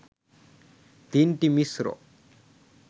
দিনটি মিশ্র